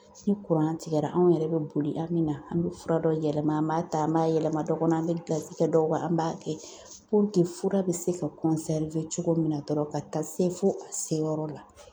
Ni tigɛra, anw yɛrɛ bɛ boli an min na an bɛ fura dɔw yɛlɛma , an b'a ta an b'a yɛlɛma dɔ kɔnɔ , an be gilasi kɛ dɔw kan an b'a kɛ fura bɛ se ka cogo min na dɔrɔn ka taa se fo a se yɔrɔ la.